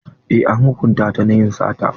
Eh an hukunta ta na yin sata.